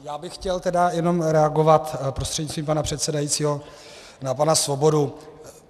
Já bych chtěl tedy jenom reagovat prostřednictvím pana předsedajícího na pana Svobodu.